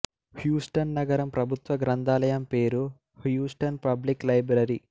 Houston నగరం ప్రభుత్వ గ్రంథాలయం పేరు హ్యూస్టన్ పబ్లిక్ లైబ్రెరీ